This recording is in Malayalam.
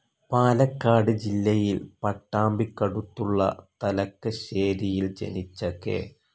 പാലക്കാട് ജില്ലയിൽ പട്ടാമ്പിക്കടുത്തുള്ള തലക്കശ്ശേരിയിൽ ജനിച്ച കെ.